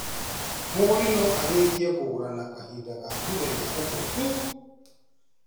Mũgũri no arĩkie kũgũra na kahinda ga mũthenya ũmwe tu